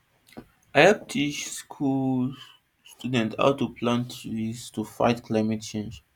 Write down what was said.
i hep teach school children how to plant trees to fight climate change